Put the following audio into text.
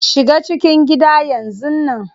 Shiga cikin gida yanzun nan.